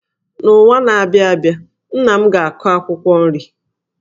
N’ọnwa na-abịa abịa, nna m ga-akụ akwụkwọ nri.